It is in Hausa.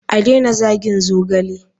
A daina zagin zogale.